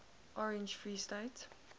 orange free state